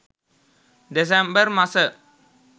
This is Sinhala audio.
දෙසැම්බර් මස